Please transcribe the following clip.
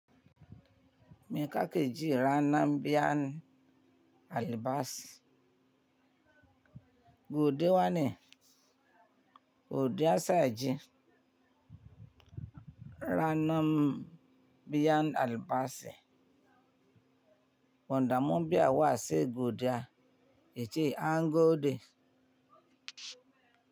Mi kakeji rana biyan albas. Buɗe wane, kuɗi asa ji. Ranan biyan albashi wanda mun biya se godiya yace an gode.